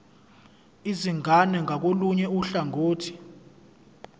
izingane ngakolunye uhlangothi